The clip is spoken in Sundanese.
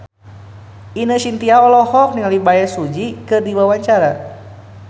Ine Shintya olohok ningali Bae Su Ji keur diwawancara